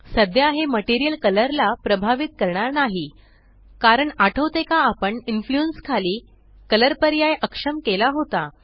सध्या हे material colour ला प्रभावित करणार नाही कारण आठवते का आपण इन्फ्लुएन्स खाली कलर पर्याय अक्षम केला होता